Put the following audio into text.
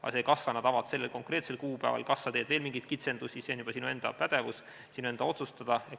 Aga see, kas sa avad need sellel konkreetsel kuupäeval või kas sa teed veel mingeid kitsendusi, on juba sinu enda pädevus, sinu enda otsustada.